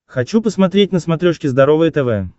хочу посмотреть на смотрешке здоровое тв